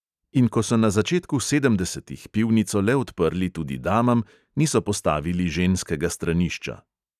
In ko so na začetku sedemdesetih pivnico le odprli tudi damam, niso postavili ženskega stranišča.